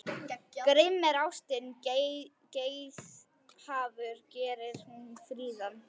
Grimm er ástin, geithafur gerir hún fríðan.